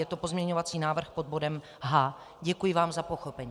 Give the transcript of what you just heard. Je to pozměňovací návrh pod bodem H. Děkuji vám za pochopení.